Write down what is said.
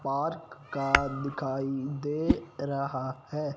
Park का दिखाई दे रहा है।